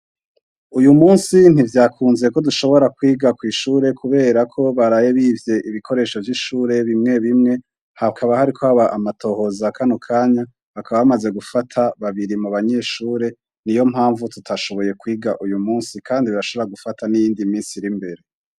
Uyu munsi ntivyakunze ko dushobora kwiga kw'ishure kubera ko baraye bivye ibikoresho vy'ishure bimwe bimwe hakaba hariko haba amatohoza. Kano kanya, hakaba bamaze gufata babiri mu banyeshuri. Niyo mpamvu turize uyu munsi kandi barashobora gufata n'iyindi minsi iri imbere.